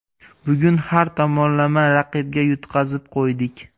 Bugun har tomonlama raqibga yutqazib qo‘ydik.